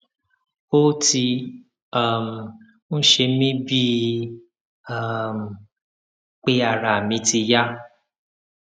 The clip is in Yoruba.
ó ti um ń ṣe mí bíi um pé ara mi ti yá